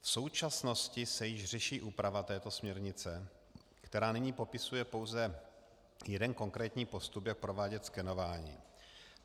V současnosti se již řeší úprava této směrnice, která nyní popisuje pouze jeden konkrétní postup, jak provádět skenování.